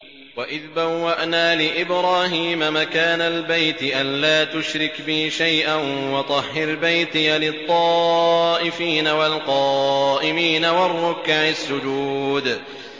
وَإِذْ بَوَّأْنَا لِإِبْرَاهِيمَ مَكَانَ الْبَيْتِ أَن لَّا تُشْرِكْ بِي شَيْئًا وَطَهِّرْ بَيْتِيَ لِلطَّائِفِينَ وَالْقَائِمِينَ وَالرُّكَّعِ السُّجُودِ